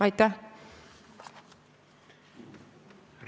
Aitäh!